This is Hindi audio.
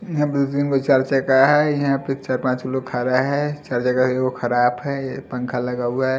छह पाँच लोग खड़ा है खराब है ये पंखा लगा हुआ है।